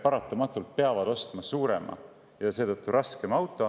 Paljulapselised pered peavad paratamatult ostma suurema ja seetõttu ka raskema auto.